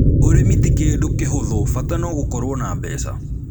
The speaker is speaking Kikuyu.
Ūrĩmi ti kĩndũ kĩhũthũ, bata no gũkorũo na mbeca